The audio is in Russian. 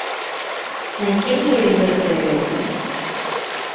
найди мне ривердейл